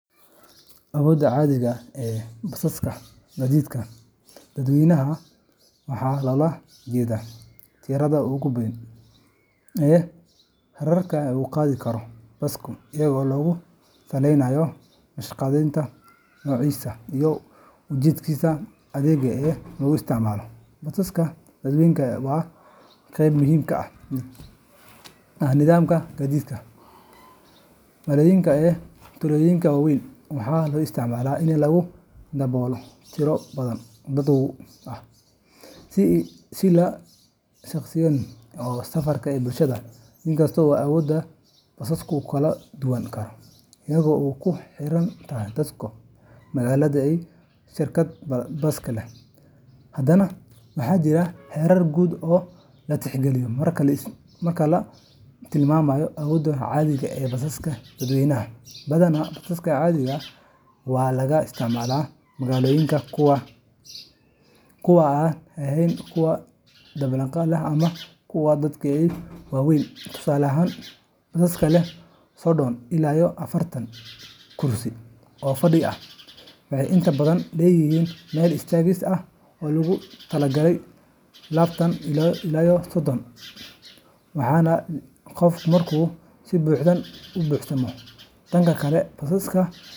Awoodda caadiga ah ee basaska gaadiidka dadweynaha waxaa loola jeedaa tirada ugu badan ee rakaabka uu qaadi karo basku iyadoo lagu salaynayo naqshadeyntiisa, noociisa, iyo ujeedkiisa adeeg ee lagu isticmaalayo. Basaska dadweynaha waa qayb muhiim ah oo ka mid ah nidaamka gaadiidka magaalooyinka iyo tuulooyinka waaweyn, waxaana loo isticmaalaa in lagu daabulo tiro badan oo dad ah, si la jaanqaadaysa baahida safarka ee bulshada. Inkasta oo awoodda basasku kala duwanaan karto iyadoo ay ku xiran tahay dalka, magaalada, iyo shirkadda baska leh, haddana waxaa jira heerar guud oo la tixgeliyo marka la tilmaamayo awoodda caadiga ah ee basaska dadweynaha. Badanaa, basaska caadiga ah ee laga isticmaalo magaalooyinka kuwa aan ahayn kuwa dabaqyada leh ama kuwa aadka u waaweyn waxay qaadi karaan qiyaastii konton ilaa todoqof, iyadoo la isku darayo kuraasta iyo dadka istaagaya. Tusaale ahaan, baska leh sodon ila afartan kursi oo fadhiga ah wuxuu inta badan leeyahay meel istaagis ah oo loogu talagalay labatan ila sodon qof kale. Tani waxay keentaa in baska caadiga ahi qaado ugu yaraan lixdan qof markuu si buuxda u buuxsamo. Dhanka kale, basaska.